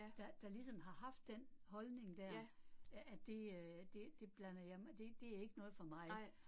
Der der ligesom har haft den holdning dér, at at det øh det det blander jeg mig, det det er ikke noget for mig